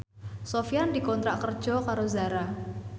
Sofyan dikontrak kerja karo Zara